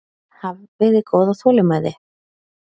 Hafiði góða þolinmæði?